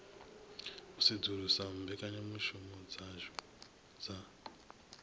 u sedzulusa mbekanyamushumo dzashu dza